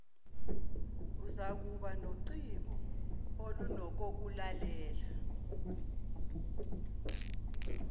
uzakuba nocingo olunokokulalela